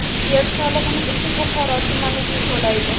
Yer solig‘ini esa Buxoro tumaniga to‘laydi.